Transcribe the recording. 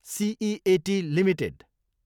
seat Ltd